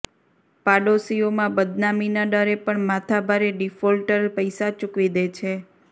પાડોશીઓમાં બદનામીના ડરે પણ માથાભારે ડિફોલ્ટર પૈસા ચૂકવી દે છે